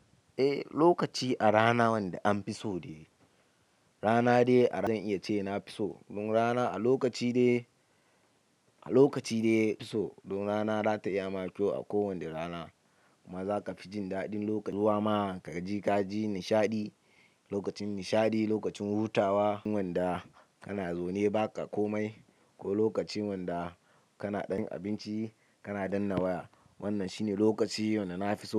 Eh, lokaci a rana wanda an fi so de rana dai ba zan iya ce na fi so. Don rana a lokaci dai, a lokaci dai yafi so. Don rana za ta iya ma kyau a kowane rana. Kuma za ka fi jin daɗin lokaci zuwa ma ka gaji nishaɗi. Lokacin nishaɗi, lokacin hutawa, wanda kana zaune ba ka komai ko lokacin wanda kana ɗan abinci kana danna waya. Wannan shine lokaci wanda na fi so.